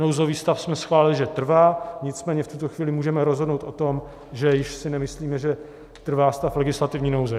Nouzový stav jsme schválili, že trvá, nicméně v tuto chvíli můžeme rozhodnout o tom, že si již nemyslíme, že trvá stav legislativní nouze.